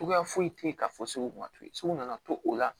Cogoya foyi tɛ ye ka fɔ sugu nka toyi sugu nana to o la